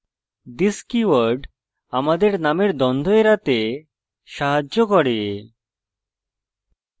this keyword আমাদের নামের দ্বন্দ্ব এড়াতে সাহায্য করে